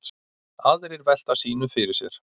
Aðrir velta sínu fyrir sér.